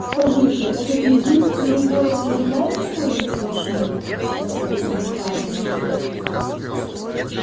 скажите этот единственный город и являет собой весь ваш мир спросил он у хардина